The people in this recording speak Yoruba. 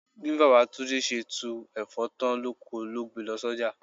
Bí Baba Túndé ṣe tú Ẹ̀fọ́ tán lóko ló gbe lọ s'oja.